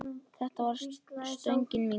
Þetta var stöngin inn!